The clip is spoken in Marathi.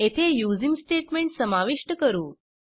येथे यूझिंग स्टेट्मेंट समाविष्ट करू